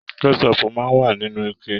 Kẹsọpu máa n wa nínú ike.